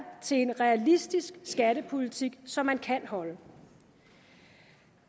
til en realistisk skattepolitik som man kan holde